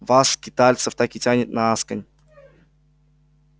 вас скитальцев так и тянет на асконь